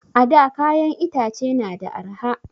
A da kayan itace na da arha